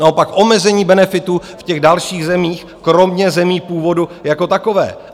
Naopak omezení benefitů v těch dalších zemích, kromě zemí původu jako takové.